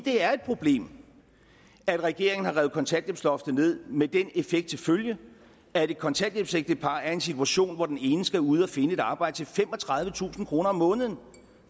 er et problem at regeringen har revet kontanthjælpsloftet ned med den effekt til følge at et kontanthjælpsægtepar er i den situation at den ene skal ud at finde et arbejde til femogtredivetusind kroner om måneden